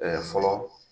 fɔlɔ